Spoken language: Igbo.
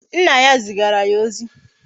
Nna ya zigara ya ozi